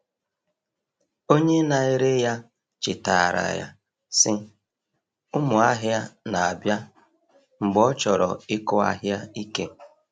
Onye na-ere ya chetaara ya, sị, “Ụmụ ahịa na-abịa,” mgbe ọ chọrọ ịkụ ahịa ike.